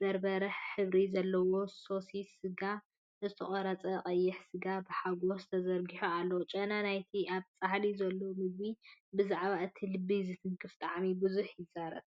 በርበረ ሕብሪ ዘለዎ ሶስ ስጋን ዝተቖርጸ ቀይሕ ስጋን ብሓጎስ ተዘርጊሑ ኣሎ። ጨና ናይቲ ኣብ ጻሕሊ ዘሎ ምግቢ ብዛዕባ እቲ ልቢ ዝትንክፍ ጣዕሚ ብዙሕ ይዛረብ!